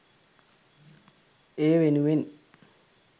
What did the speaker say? ඒ වෙනුවෙන්